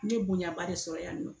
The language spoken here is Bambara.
N ye bonya ba de sɔrɔ yan nɔ